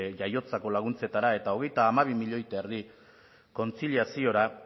jaiotzako laguntzetara eta hogeita hamabi milioi eta erdi kontziliaziora